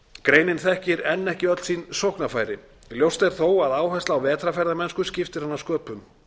greinin þekkir enn ekki öll sín sóknarfæri ljóst er þó að áhersla á vetrarferðamennsku skiptir hana sköpum